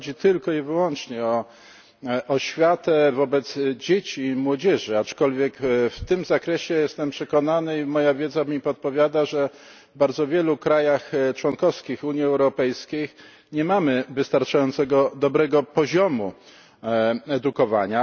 Nie chodzi tylko i wyłącznie o oświatę wobec dzieci i młodzieży, aczkolwiek w tym zakresie jestem przekonany i moja wiedza mi podpowiada, że w bardzo wielu państwach członkowskich Unii Europejskiej nie mamy wystarczająco dobrego poziomu edukowania.